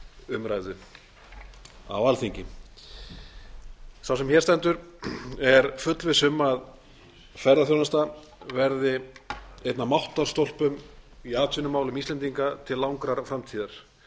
umræðu á alþingi sá sem hér stendur er fullviss um að ferðaþjónusta verði einn af máttarstólpum í atvinnumálum íslendinga til langrar framtíðar